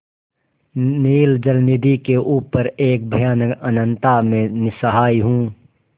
नील जलनिधि के ऊपर एक भयानक अनंतता में निस्सहाय हूँ